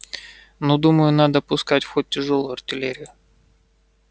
ну думаю надо пускать в ход тяжёлую артиллерию